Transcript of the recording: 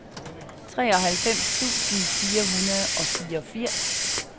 treoghalvfems tusind fire hundrede og fireogfirs